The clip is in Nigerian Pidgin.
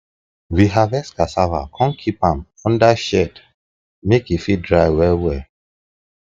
we harvest cassava come keep am under shed make e fit dry well well